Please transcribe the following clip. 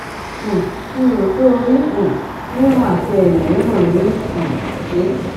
um mi ò rò pé orí um rírun àti èyìn rírun ní í um ṣe